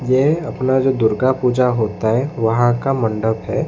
ये अपना जो दुर्गा पूजा होता है वहां का मंडप है।